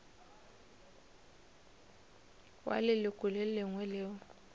wa leloko le lengwe leo